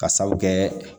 Ka sabu kɛ